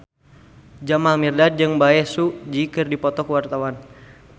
Jamal Mirdad jeung Bae Su Ji keur dipoto ku wartawan